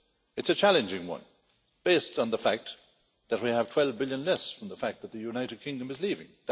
It's a challenging one, based on the fact that we have 12 billion less from the fact that the United Kingdom is leaving.